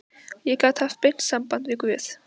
Ég get haft beint samband við guð.